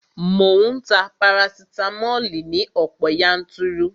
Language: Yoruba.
Mò ń ta parasitamoli ní ọ̀pọ̀ yanturu